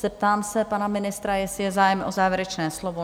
Zeptám se pana ministra, jestli je zájem o závěrečné slovo?